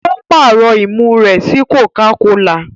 O parọ imú rẹ sí cocacola.